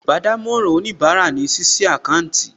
Iṣẹ́ olùbádámọ̀ràn òníbarà ní ṣíṣí àkáńtì